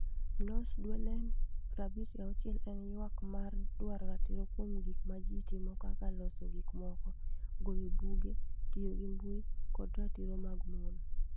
#NosDuelen56 en ywak mar dwaro ratiro kuom gik ma ji timo kaka loso gik moko, goyo buge, tiyo gi mbui, kod ratiro mag mon.